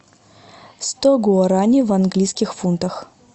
сто гуарани в английских фунтах